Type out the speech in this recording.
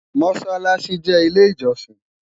mosálási jé ilé ijosin